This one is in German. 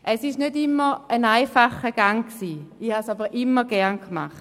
Es ist nicht immer ein einfacher Gang gewesen, aber ich habe es immer gerne gemacht.